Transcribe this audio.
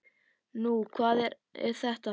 Nú, hvað er þetta þá?